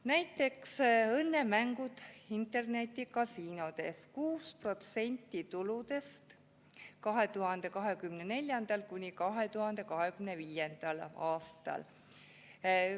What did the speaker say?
Näiteks õnnemängud internetikasiinodes: 6% tuludest 2024.–2025. aastal.